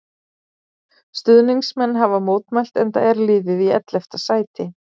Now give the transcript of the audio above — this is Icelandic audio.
Stuðningsmenn hafa mótmælt enda er liðið í ellefta sæti.